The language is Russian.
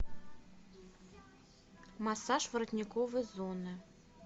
массаж воротниковой зоны